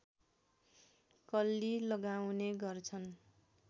कल्ली लगाउने गर्छन्